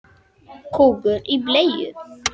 Þín Camilla Rós.